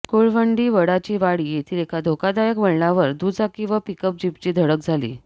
कुळवंडी वडाचीवाडी येथील एका धोकादायक वळणावर दुचाकी व पिकअप जीपची धडक झाली